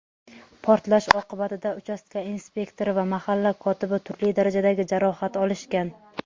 Portlash oqibatida uchastka inspektori va mahalla kotibi turli darajadagi jarohat olishgan.